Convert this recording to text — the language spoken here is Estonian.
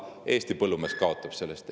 Eesti põllumees kaotab sellest.